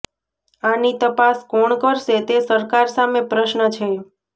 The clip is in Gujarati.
આની તપાસ કોણ કરશે તે સરકાર સામે પ્રશ્ન છે